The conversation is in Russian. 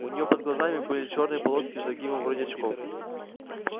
у неё под глазами были чёрные полоски с загибом вроде очков